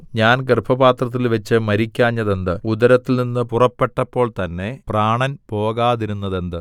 ഞാൻ ഗർഭപാത്രത്തിൽവച്ച് മരിക്കാഞ്ഞതെന്ത് ഉദരത്തിൽനിന്ന് പുറപ്പെട്ടപ്പോൾ തന്നെ പ്രാണൻ പോകാതിരുന്നതെന്ത്